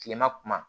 Kilema kuma